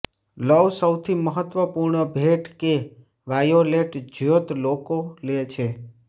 લવ સૌથી મહત્વપૂર્ણ ભેટ કે વાયોલેટ જ્યોત લોકો લે છે